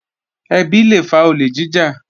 Ẹbí lé fa olè jíjà